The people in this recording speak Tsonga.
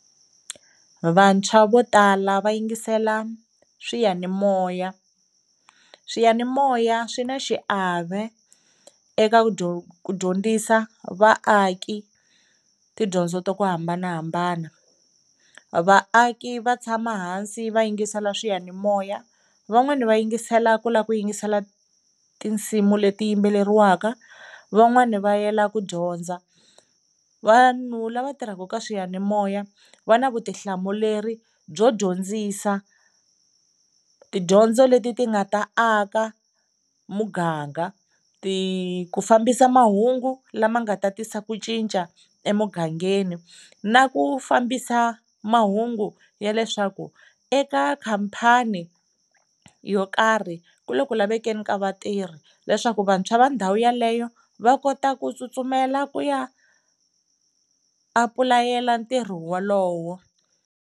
Vantshwa vo tala va yingisela swiyanimoya, swiyanimoya swi na xiave eka ku ku dyondzisa vaaki tidyondzo ta ku hambanahambana. Vaaki va tshama hansi va yingisela swiyanimoya, van'wana va yingisela ku lava ku yingisela tinsimu leti yimbelariwaka, van'wana va yela ku dyondza. Vanhu lava tirhaka ka swiyanimoya va na vutihlamuleri byo dyondzisa tidyondzo leti ti nga ta aka muganga, ti ku fambisa mahungu lama nga ta tisa ku cinca emugangeni na ku fambisa mahungu ya leswaku eka khampani yo karhi ku le ku lavekeni ka vatirhi leswaku vantshwa va ndhawu yeleyo va kota ku tsutsumela ku ya apulayela ntirho wolowo.